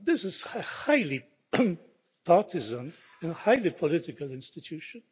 This is a highly partisan and highly political institution.